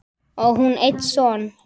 Á hún einn son.